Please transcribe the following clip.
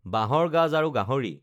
বাঁহৰ গাজ আৰু গাহৰি